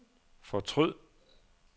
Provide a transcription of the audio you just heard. fortryd